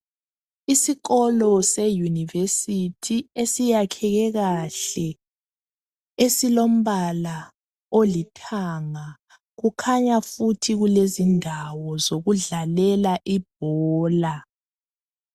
Isikolo e"University "esiyakheke kahle esilombala olithanga kukhanya futhi kulezindawo zokudlalela ibhola.